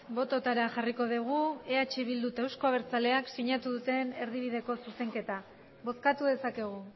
bototara jarriko dugu eh bildu eta euzko abertzaleak sinatu duten erdibideko zuzenketa bozkatu dezakegu